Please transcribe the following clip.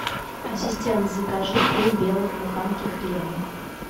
ассистент закажи три белых буханки хлеба